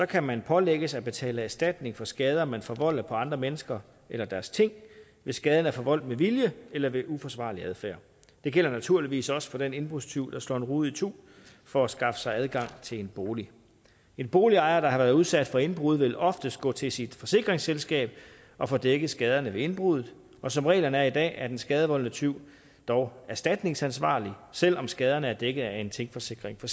kan man pålægges at betale erstatning for skader man forvolder på andre mennesker eller deres ting hvis skaden er forvoldt med vilje eller ved uforsvarlig adfærd det gælder naturligvis også for den indbrudstyv der slår en rude itu for at skaffe sig adgang til en bolig en boligejer der har været udsat for indbrud vil oftest gå til sit forsikringsselskab og få dækket skaderne ved indbruddet som reglerne er i dag er den skadevoldende tyv dog erstatningsansvarlig selv om skaderne er dækket af en tingforsikring for